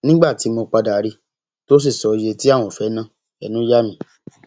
nígbà tí mo padà rí i tó sì sọ iye tí àwọn fẹẹ na ẹnu yà mí